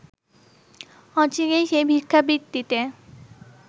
অচিরেই সে ভিক্ষাবৃত্তিতে